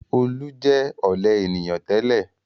Olú jẹ ọ̀lẹ ènìyàn tẹ́lẹ̀.